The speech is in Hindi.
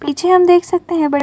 पीछे हम देख सकते हैं बड़े --